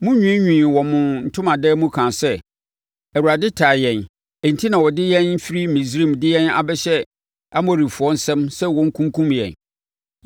Monwiinwii wɔ mo ntomadan mu kaa sɛ, “ Awurade tan yɛn enti na ɔde yɛn firi Misraim de yɛn abɛhyɛ Amorifoɔ nsam sɛ wɔnkunkum yɛn.